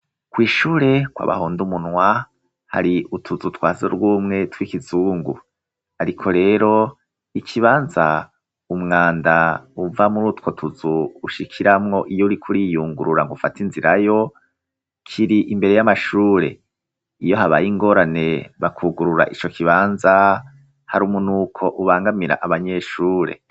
Kw'ishure kwa Bahondumunwa hari utuzu twasugumwe tw'ikizungu, ariko rero ikibanza umwanda uva muri utwo tuzu ushikiramwo iyo uri kuriiyungurura ng'ufate inzira yo kiri imbere y'amashure, iyo habaye ingorane bakugurura ico kibanza har'umunuko ubangamira abanyeshure.